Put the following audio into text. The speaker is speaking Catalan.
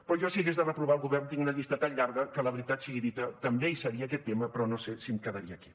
però jo si hagués de reprovar el govern tinc una llista tan llarga que la veritat sigui dita també hi seria aquest tema però no sé si em quedaria aquí